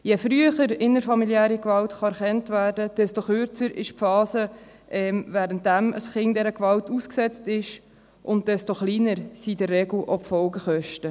Je früher innerfamiliäre Gewalt erkannt werden kann, desto kürzer ist die Phase, während der das Kind dieser Gewalt ausgesetzt ist, und desto kleiner sind in der Regel auch die Folgekosten.